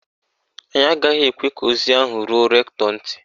Anyị agaghị ekwe ka ozi ahụ ruo rektọ ntị.